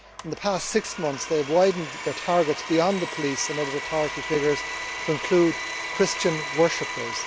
In the past six months they have widened their targets beyond the police and other authority figures to include Christian worshippers.